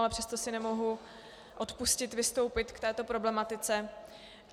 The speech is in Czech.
Ale přesto si nemohu odpustit vystoupit k této problematice.